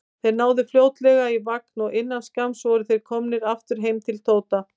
Þeir náðu fljótlega í vagn og innan skamms voru þeir komnir aftur heim til Tóta.